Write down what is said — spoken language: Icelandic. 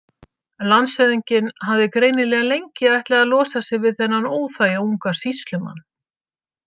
Landshöfðinginn hafði greinilega lengi ætlað að losa sig við þennan óþæga unga sýslumann.